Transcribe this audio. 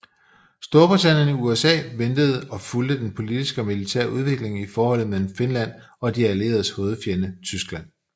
Storbritannien og USA ventede og fulgte den politiske og militære udvikling i forholdet mellem Finland og de allieredes hovedfjende Tyskland